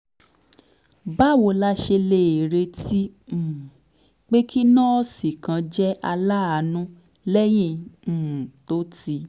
báwo la ṣe lè retí um pé kí nọ́ọ̀sì kan jẹ́ aláàánú lẹ́yìn um tó ti